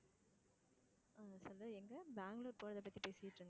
சொல்லு எங்க, பெங்களூர் போறதை பத்தி பேசிட்டு இருந்தே